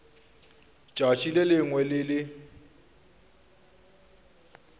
tšatši le lengwe le le